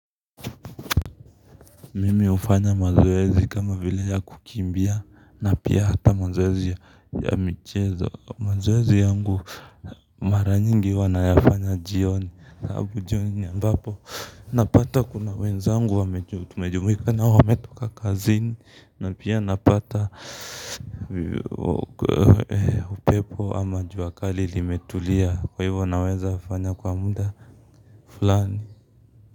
Mimi ufanya mazoezi kama vile ya kukimbia na pia hata mazoezi ya michezo. Mazoezi yangu mara nyingi huwa nayafanya jioni alafu jioni ni ambapo napata kuna wenzangu tumejumuika na wametoka kazini na pia napata upepo ama jua kali limetulia kwa hivyo nawezafanya kwa muda fulani.